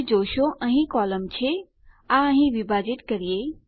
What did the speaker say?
તમે જોશો અહીં એક કોલમ છે આ અહીં વિભાજીત કરીએ